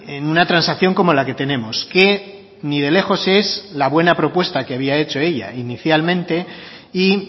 en una transacción como la que tenemos que ni de lejos es la buena propuesta que había hecho ella inicialmente y